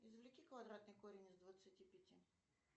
извлеки квадратный корень из двадцати пяти